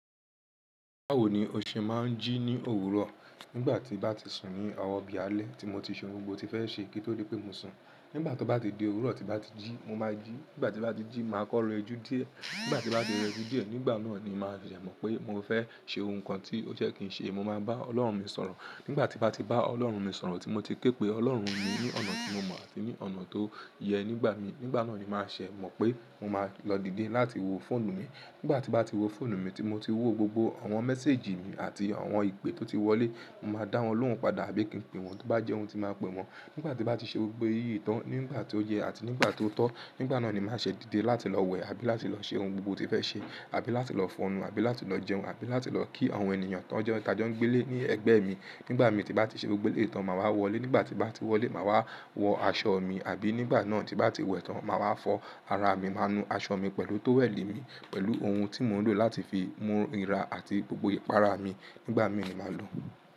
Báwo ni òṣè máa ń jí ní òwúrọ̀, nígbà tí bá ti sùn ní ọ̀wo bì alẹ́ tí mo ti ṣe ohun gbogbo tí mo fẹ́ ṣe, kí ó tó dé pé mó sun. Nígbà tó bá ti di òwúrọ̀, tí bá ti jí, mo máa jí. Nígbà tí bá ti jí, màá kọ́ re jú díẹ̀. Nígbà tí bá ti rẹ̀ ju díẹ̀, nígbà náà ni màá ṣẹ̀ mọ́ pé mo fẹ́ ṣe ohun kan tí ó je kì í ṣe. Mo máa bá Ọlọ́run mi sọ̀rọ̀. Nígbà tí bá ti bá Ọlọ́run mi sọ̀rọ̀, tí mo ti ké pé Ọlọ́run mi ní ọ̀nà tí mo mọ̀ àti ní ọ̀nà tó yẹ nígbà mi, nígbà náà ni màá ṣẹ̀ mọ́ pé mo máa lọ díde láti wo fóònù mi. Nígbà tí bá ti wo fóònù mi, tí mo ti wo gbogbo àwọn mẹ́sẹ́ejì mi àti àwọn ìpe tó ti wọlé, mo máa dá wọ́n lóhùn padà àbí kín pín wọ́n, tí bá jẹ́ ohun ti máa pẹ̀ wọ́n. Nígbà tí bá ti ṣe gbogbo èyí tán, nígbà tí ó yẹ àti nígbà ó tọ́, nígbà náà ni màá ṣẹ̀ díde láti lọ wẹ̀ àbí láti lọ ṣe ohun gbogbo ti fẹ́ ṣe, àbí láti lọ fọnu, àbí láti lọ jẹun, àbí láti lọ kí àwọn ènìyàn tàn ẹ́ ta jọ ń gbé lé ní ẹgbẹ́ mi. Nígbà mí tí bá ti ṣe gbogbo eléyi tán, màá wọlé. Nígbà tí bá ti wọlé, màá wá wọ aṣọ mi. Àbí nígbà náà tí bá ti wẹ̀ tán, màá wá fọ́ ara mi, màá nu aṣọ mi pẹ̀lú tówẹ́ẹ̀lì mi, pẹ̀lú ohun tí mò ń lò láti fi mú ira àti gbogbo ìpara mi. Nígbà mí ni màá lò.